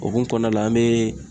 Okumu kɔnɔna la an bee